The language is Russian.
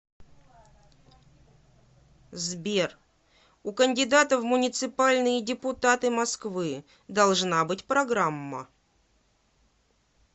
сбер у кандидата в муниципальные депутаты москвы должна быть программа